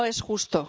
No es justo,